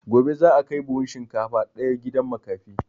Gobe za a kai buhun shinkafa ɗaya gidan makafi